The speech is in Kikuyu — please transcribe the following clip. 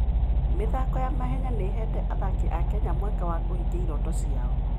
mĩthako ya mahenya nĩ ĩheete athaki a Kenya mweke wa kũhingia iroto ciao.